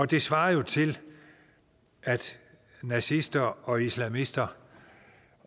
det svarer jo til at nazister og islamister